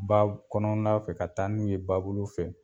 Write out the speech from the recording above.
Baa kɔnɔna fɛ ka taa n'u ye ba bolo fɛ.